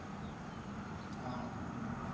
हां खूप नवीन होईल.